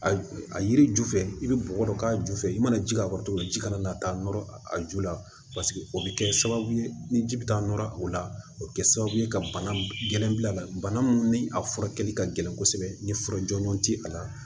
A a yiri ju fɛ i bɛ bɔgɔ dɔ k'a ju fɛ i mana ji k'a kɔrɔ cogo min ji kana na taa nɔrɔ a ju la paseke o bɛ kɛ sababu ye ni ji bɛ taa nɔrɔ o la o bɛ kɛ sababu ye ka bana gɛlɛn bil' a la bana mun ni a furakɛli ka gɛlɛn kosɛbɛ ni fura jɔnjɔn tɛ a la